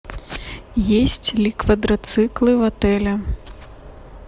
есть ли квадроциклы в отеле